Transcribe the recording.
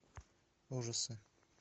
ужасы